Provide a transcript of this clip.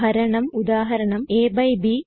ഹരണം ഉദാഹരണം aബ്